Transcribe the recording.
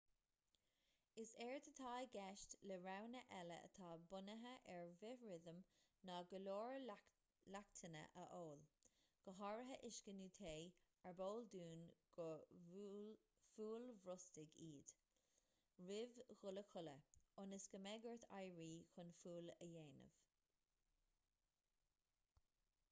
is éard atá i gceist le roghanna eile atá bunaithe ar bhithrithim ná go leor leachtanna a ól go háirithe uisce nó tae arb eol dúinn gur fualbhrostaigh iad roimh dhul a chodladh ionas go mbeidh ort éirí chun fual a dhéanamh